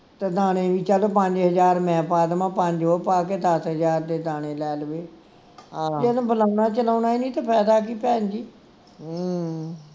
ਤਾਂ ਦਾਣੇ ਵੀ ਚੱਲ ਪੰਜ ਹਜਾਰ ਮੈਂ ਪਾ ਦੇਵਾਂ ਪੰਜ ਉਹ ਪਾ ਕੇ ਦੱਸ ਹਜਾਰ ਦੇ ਦਾਣੇ ਲੈ ਲਈਏ ਬੁਲਾਉਣਾ ਚਲਾਉਣਾ ਹੀ ਨਹੀਂ ਤਾਂ ਫਾਇਦਾ ਕਿ ਭੈਣਜੀ